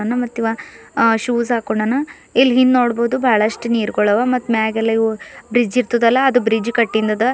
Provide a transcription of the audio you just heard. ಆ ಮತ್ತಿವ ಶೂಸ್ ಹಾಕೊಂಡನ ಇಲ್ಲಿ ಹಿಂದ್ ನೋಡ್ಬಹುದು ಬಹಳಷ್ಟು ನೀರ್ಗುಳವ ಮತ್ ಮ್ಯಾಗೆಲ್ಲ ಇವು ಬ್ರಿಡ್ಜ್ ಇರ್ತದಲ ಅದು ಬ್ರಿಡ್ಜ್ ಕಟ್ಟಿಂದದ.